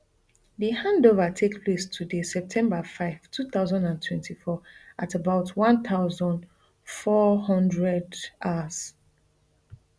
di handover take place today september five two thousand and twenty-four at about one thousand, four hundred hrs